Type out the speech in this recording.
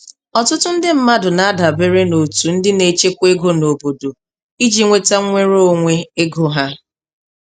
Ọtụtụ ndị mmadụ na-adabere n'otu ndị na-echekwa ego n'obodo iji nweta nwere onwe ego ha.